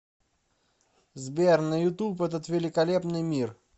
сбер на ютуб этот великолепный мир